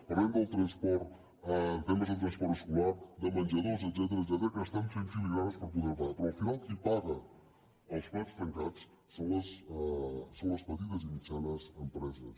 parlarem del transport temes de transport escolar de menjadors etcètera que estan fent filigranes per poderho pagar però al final qui paga els plats trencats són les petites i mitjanes empreses